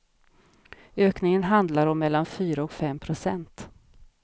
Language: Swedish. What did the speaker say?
Ökningen handlar om mellan fyra och fem procent.